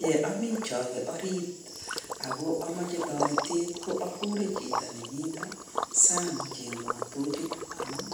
Ye ami choke ariit ako kamache toretet akure chito nemito sang kochengwo tochit amun